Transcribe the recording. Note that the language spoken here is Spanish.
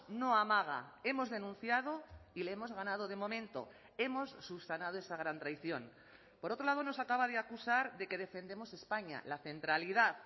no amaga hemos denunciado y le hemos ganado de momento hemos subsanado esa gran traición por otro lado nos acaba de acusar de que defendemos españa la centralidad